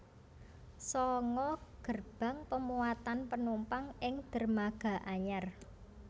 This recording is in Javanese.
Sanga gerbang pemuatan penumpang ing dermaga anyar